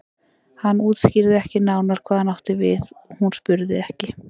Hann útskýrði ekki nánar hvað hann átti við og hún spurði ekki.